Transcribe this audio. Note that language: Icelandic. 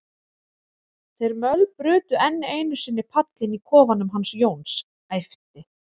þeir mölbrutu enn einu sinni pallinn í kofanum hans Jóns, æpti